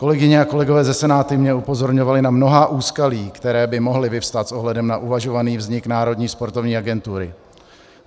Kolegyně a kolegové ze Senátu mě upozorňovali na mnohá úskalí, která by mohla vyvstat s ohledem na uvažovaný vznik Národní sportovní agentury.